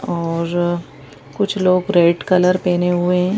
और कुछ लोग रेड कलर पहने हुए हैं।